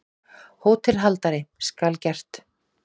HÓTELHALDARI: Skal gert.